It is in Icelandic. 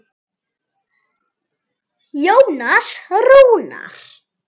Jónas Rúnar.